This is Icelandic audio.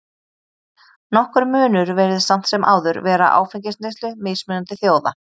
Nokkur munur virðist samt sem áður vera á áfengisneyslu mismunandi þjóða.